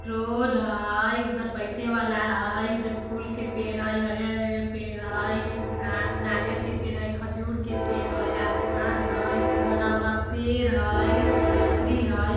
रोड़ हई उधर बैठे वाला हई इधर फूल के पेड़ हई हरियर हरियर पेड़ हई आ नारियल के पेड़ हई खजूर के पेड़ हई आसमान हई बड़ा बड़ा पेड़ हई झोपडी हई ।